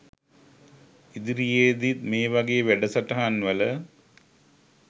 ඉදිරියේදිත් මේ වගේ වැඩසටහන් වල